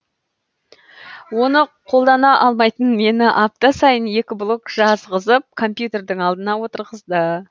оны қолдана алмайтын мені апта сайын екі блог жазғызып компьютердің алдына отырғызды